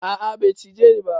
A'a bai cije ni ba.